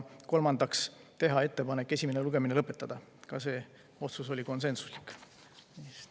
Kolmandaks otsustati teha ettepanek esimene lugemine lõpetada, ka see otsus oli konsensuslik.